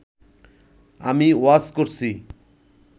আমি ওয়াচ করছি